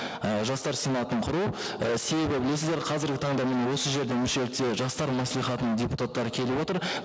і жастар сенатын құру і себебі білесіздер қазіргі таңда міне осы жерде мүшелікте жастар мәслихатының депутаттары келіп отыр